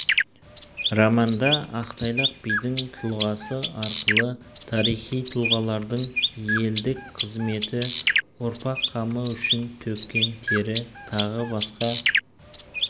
романда ақтайлақ бидің тұлғасы арқылы тарихи тұлғалардың елдік қызметі ұрпақ қамы үшін төккен тері тағы басқа